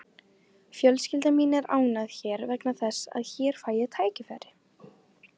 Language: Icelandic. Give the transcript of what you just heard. Fjölskylda mín er ánægð hér vegna þess að hér fæ ég tækifæri.